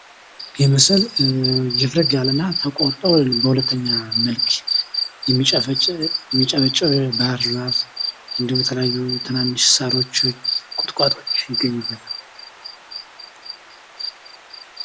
ይህ ምስል ችፍርግ ያለ እና ተቆርጠው ሁለተኛ የሚበቅሉ ፣የሚጨበጭቡ ባህር ዛፍ ፣እንዲሁም ሳሮች ፣ቁጥቋጦዎች ይገኙበታል።